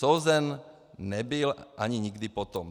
Souzen nebyl ani nikdy potom...